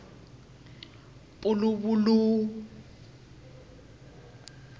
puluvulu